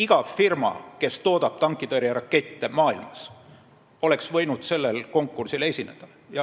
Iga firma maailmas, kes toodab tankitõrjerakette, oleks võinud sellel konkursil osaleda.